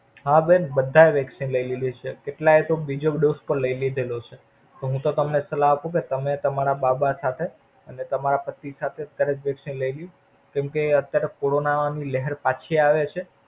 હા બેન બધા એ Vaccine લય લેલી છે. કેટલા એ તો બીજો dose પણ લય લીધેલો છે. તો હું તો તમને સલાહ આપું કે તમે તમારા બાબા સાથે અને તમારા પતિ સાથે ખરી લેવી. કેમ કે અત્યારે Corona ની લહેર પાછી આવે છે.